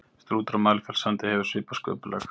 strútur á mælifellssandi hefur svipað sköpulag